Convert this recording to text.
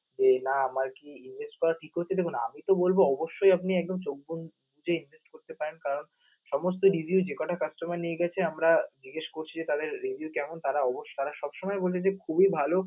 এই না আমার কি image টাও ঠিক করতে দিবে না আমি তো বলবো অবশ্যই আপনি একদম চোখ বন্ধ যে invest কারণ সমস্ত review যে কটা customer নিয়ে গেছে আমরা জিজ্ঞেস করছি যে তাদের review কেমন তারা তারা সবসময় বলছে যে খুবই ভাল